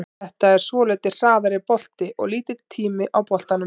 Þetta er svolítið hraðari bolti og lítill tími á boltanum.